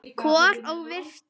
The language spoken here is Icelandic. Kol og vistir.